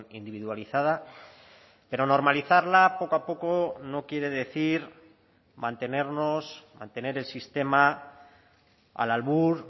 individualizada pero normalizarla poco a poco no quiere decir mantenernos mantener el sistema al albur